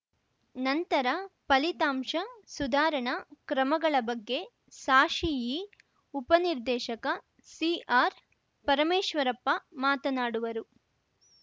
ನಂತರ ಫಲಿತಾಂಶ ಸುಧಾರಣಾ ಕ್ರಮಗಳ ಬಗ್ಗೆ ಸಾಶಿಇ ಉಪ ನಿರ್ದೇಶಕ ಸಿಆರ್‌ಪರಮೇಶ್ವರಪ್ಪ ಮಾತನಾಡುವರು